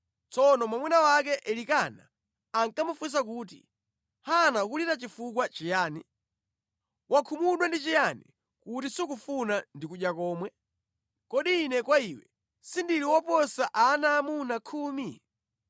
Tsono mwamuna wake Elikana ankamufunsa kuti, “Hana ukulira chifukwa chiyani? Wakhumudwa ndi chiyani kuti sukufuna ndi kudya komwe? Kodi ine kwa iwe sindili woposa ana aamuna khumi?”